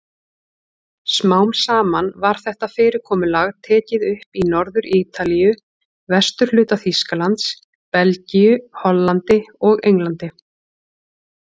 Smám saman var þetta fyrirkomulag tekið upp í Norður-Ítalíu, vesturhluta Þýskalands, Belgíu, Hollandi og Englandi.